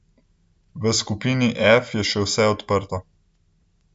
V skupini F je še vse odprto.